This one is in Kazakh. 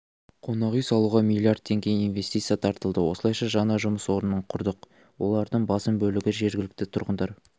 қонақүй салуға млрд теңге инвестиция тартылды осылайша жаңа жұмыс орнын құрдық олардың басым бөлігі жергілікті тұрғындар